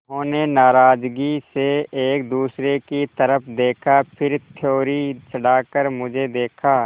उन्होंने नाराज़गी से एक दूसरे की तरफ़ देखा फिर त्योरी चढ़ाकर मुझे देखा